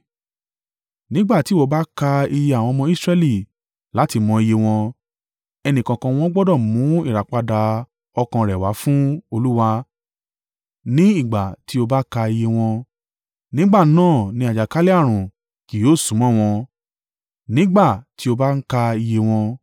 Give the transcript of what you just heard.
“Nígbà tí ìwọ bá ka iye àwọn ọmọ Israẹli láti mọ iye wọn, ẹnìkọ̀ọ̀kan wọn gbọdọ̀ mú ìràpadà ọkàn rẹ̀ wá fún Olúwa ní ìgbà tí o bá ka iye wọn. Nígbà náà ni àjàkálẹ̀-ààrùn kì yóò súnmọ́ wọn, nígbà tí o bá ń ka iye wọn.